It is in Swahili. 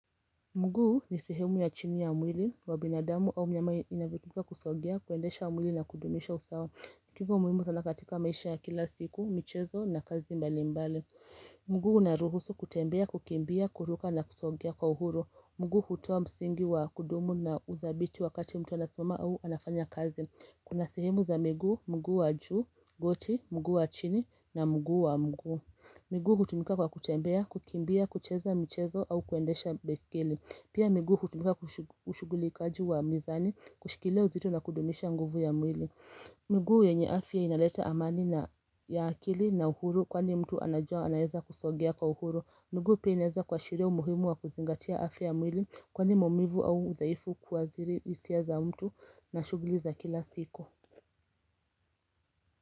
Mguu ni sihemu ya chini ya umwili, wabinadamu au mnyamai inavikika kusogia, kuendesha umwili na kudumisha usawa. Kiko umwimu sanakatika maisha ya kila siku, michezo na kazi mbali mbali. Mguu naruhusu kutembea, kukimbia, kuruka na kusogia kwa uhuru. Mguu hutua msingi wa kudumu na uzabiti wakati mtu anasuma au anafanya kazi. Kuna sihemu za migu, mguu wa juu, goti, mguu wa chini na mguu wa mguu. Migu kutumika kwa kutembea, kukimbia, kucheza mchezo au kuendesha beskili. Pia migu kutumika kushuguli kaji wa mizani, kushikileo zito na kudomisha nguvu ya mwili. Migu yenye afya inaleta amani ya akili na uhuru kwani mtu anajua anayeza kusogea kwa uhuru. Migu peneza kwa shireo muhimu wa kuzingatia afya mwili kwani momivu au zaifu kuwaziri usia za mtu na shuguliza kila siku.